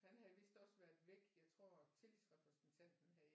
Han havde vidst også været væk jeg tror tillidsrepræsentanten havde